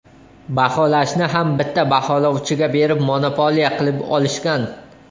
Baholashni ham bitta baholovchiga berib, monopoliya qilib olishgan.